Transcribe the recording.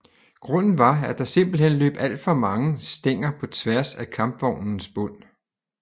Grunden var at der simpelthen løb alt for mange stænger på tværs af kampvognens bund